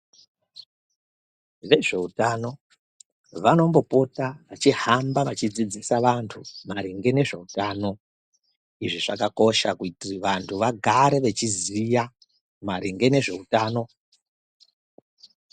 Vezveutano vanombopota vachihamba vachidzidzisa vantu maringe nezveutano. Izvi zvakakosha kuitira vantu vagare vachiziya maringe nezveutano.